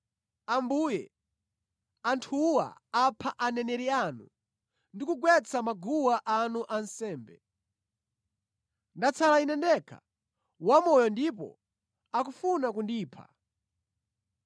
“Ambuye, anthuwa apha aneneri anu ndi kugwetsa maguwa anu ansembe. Ndatsala ine ndekha wamoyo ndipo akufuna kundipha?”